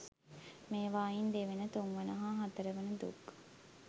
මේවායින් දෙවන, තුන්වන හා හතරවන දුක්